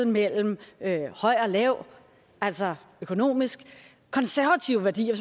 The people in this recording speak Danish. mellem høj og lav altså økonomisk konservative værdier